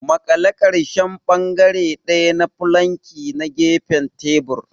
Maƙale ƙarshen bangare ɗaya na fulanki da gefen tebur.